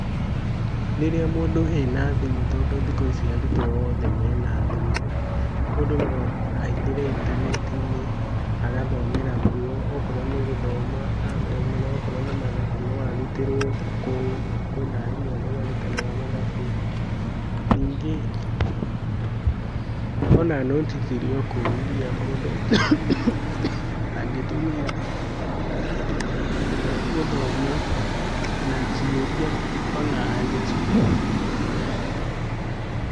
Rĩrĩa mũndũ ena thimũ tondũ arutwo othe mena thimũ, mũndũ no aingĩre intaneti-inĩ agathomera kuo okorwo nĩ gũthoma, athome, akorwo nĩ mathabu arutĩrwo kũu, kwĩna arimũ arĩa marutanaga mathabu. Ningĩ ona nũti cirĩ o kũu iria mũndũ angĩtũmĩra gũthoma na ciũria ona anja cirĩ o kũu mũndũ no atũmĩre gũthoma.